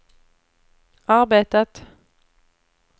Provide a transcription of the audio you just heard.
arbetat